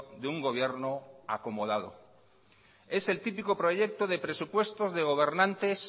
de un gobierno acomodado es el típico proyecto de presupuestos de gobernantes